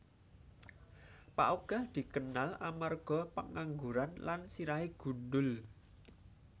Pak Ogah dikenal amarga pengangguran lan sirahé gundhul